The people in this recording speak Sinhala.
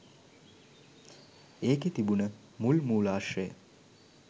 ඒකෙ තිබුන මුල් මූලාශ්‍රය